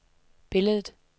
billedet